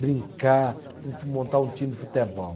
brincar, montar um time futebol.